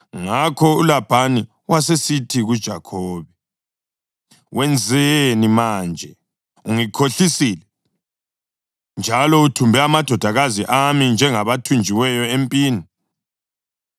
Ngakho uLabhani wasesithi kuJakhobe, “Wenzeni manje? Ungikhohlisile, njalo uthumbe amadodakazi ami njengabathunjiweyo empini.